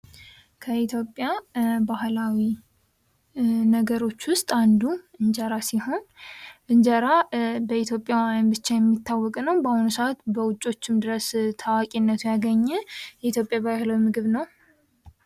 ከኢትዮጵያ ባህላዊ ነገሮች ዉስጥ አንዱ እንጀራ ሲሆን እንጀራ በኢትዮጵያ ብቻ የሚታዎቅ ነው። በአሁኑ ሰአት በዉጮችም ድረስ ታዋቂነት ያገበ ባህላዊ ምግብ ነው።